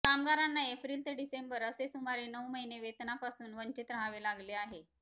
कामगारांना एप्रिल ते डिसेंबर असे सुमारे नऊ महिने वेतनापासून वंचित रहावे लागले आहे